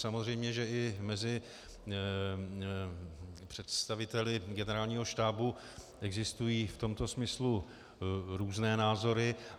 Samozřejmě, že i mezi představiteli Generálního štábu existují v tomto smyslu různé názory.